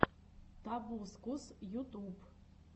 тобускус ютуб